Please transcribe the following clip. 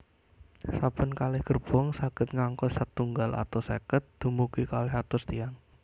Saben kalih gerbong saged ngangkut setunggal atus seket dumugi kalih atus tiyang